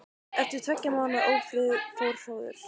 Eftir tveggja mánaða ófrið fór hróður